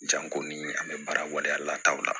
Janko ni an bɛ baara waleya lataw la